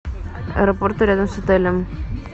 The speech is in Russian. аэропорты рядом с отелем